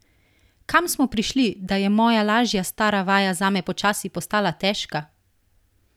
Kam smo prišli, da je moja lažja stara vaja zame počasi postala težka?